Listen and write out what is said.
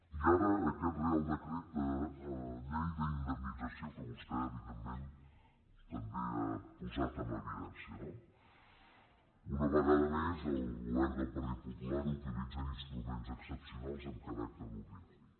i ara aquest reial decret llei d’indemnització que vostè evidentment també ha posat en evidència no una vegada més el govern del partit popular utilitza instruments excepcionals amb caràcter ordinari